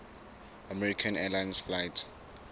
american airlines flight